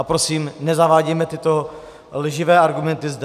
A prosím, nezavádějme tyto lživé argumenty zde.